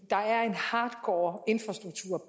der er en hardcore infrastruktur